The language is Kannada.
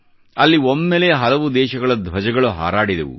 ಅಲ್ಲಿ ಒಮ್ಮೆಲೇ ಹಲವು ದೇಶಗಳ ಧ್ವಜಗಳು ಹಾರಾಡಿದವು